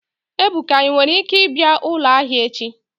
Ebuka, i nwere ike bia ulo ahia echi?